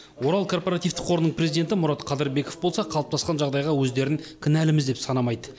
орал корпоративтік қорының президенті мұрат қадырбеков болса қалыптасқан жағдайға өздерін кінәліміз деп санамайды